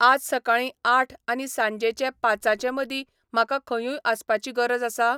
आज सकाळीं आठ आनी सांजेचे पाचांचेमदीं म्हाका खंयूय आसपाची गरज आसा?